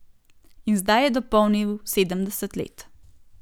In zdaj je dopolnil sedemdeset let.